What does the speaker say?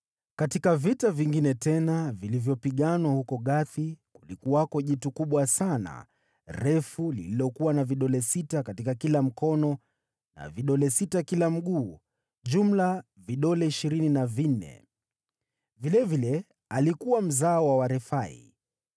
Katika vita vingine tena, vilivyopiganwa huko Gathi, kulikuwako na mtu mmoja mkubwa mwenye vidole sita katika kila mkono na vidole sita kila mguu, jumla vidole ishirini na vinne. Yeye alikuwa pia mzao wa Mrefai.